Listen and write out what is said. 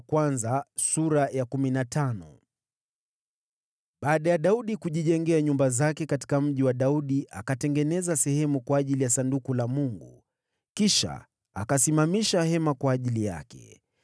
Baada ya Daudi kujijengea nyumba zake katika Mji wa Daudi, akatengeneza sehemu kwa ajili ya Sanduku la Mungu, kisha akasimamisha hema kwa ajili yake.